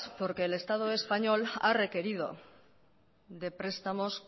porque el estado español ha requerido de prestamos